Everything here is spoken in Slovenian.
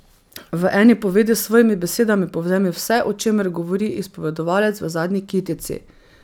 V eni povedi s svojimi besedami povzemi vse, o čemer govori izpovedovalec v zadnji kitici.